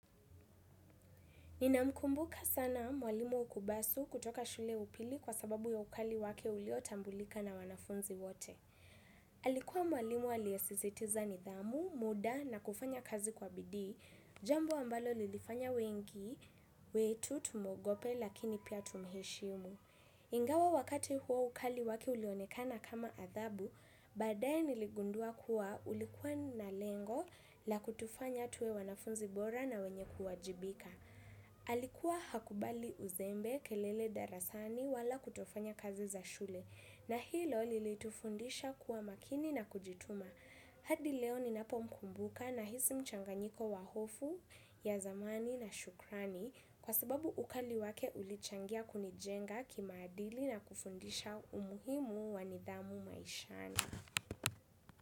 Nina mkumbuka sana mwalimu ukubasu kutoka shule ya upili kwa sababu ya ukali wake uliotambulika na wanafunzi wote. Alikuwa mwalimu aliyesizitiza nidhamu, muda na kufanya kazi kwa bidii, jambo ambalo lilifanya wengi, wetu tumuogope lakini pia tumheshimu. Ingawa wakati huo ukali wake ulionekana kama adhabu, baadayeniligundua kuwa ulikuwa na lengo la kutufanya tuwe wanafunzi bora na wenye kuwajibika. Alikuwa hakubali uzembe kelele darasani wala kutofanya kazi za shule na hilo lilitufundisha kuwa makini na kujituma hadi leo ninapo mkumbuka nahisi mchanganyiko wa hofu ya zamani na shukrani kwa sababu ukali wake ulichangia kunijenga kimaadili na kufundisha umuhimu wanidhamu maishani.